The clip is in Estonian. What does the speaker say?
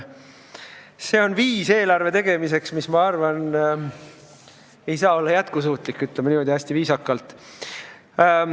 Säärane eelarve tegemine minu arvates ei saa olla jätkusuutlik – ütlen niimoodi hästi viisakalt.